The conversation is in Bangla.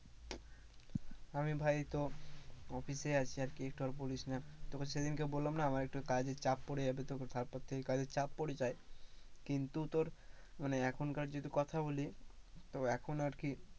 আমি ভাই এইতো office এ আছি আরকি একটু আর বলিস না তোকে সেদিনকে বললাম না আমার একটু কাজের চাপ পড়ে যাবে তো তারপর থেকে কাজের চাপ পড়ে যায় কিন্তু তোর মানে এখনকার যদি কথা বলি তো এখন আর কি